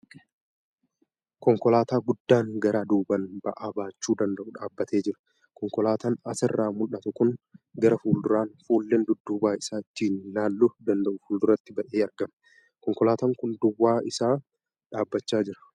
Konkolaataa guddaan garaa duubaan ba'aa baachuu danda'u dhaabbatee jira. Konkolaataan asirraa mul'atu kun garaa fuulduraan fuulleen dudduuba isaa ittiin laaluu danda'u fuulduratti ba'ee argama. Konkolaataan kun duwwaa isaa dhaabbachaa jira.